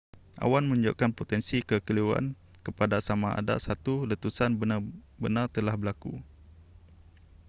awan menunjukkan potensi kekeliruan kepada samada satu letusan benar-benartelah berlaku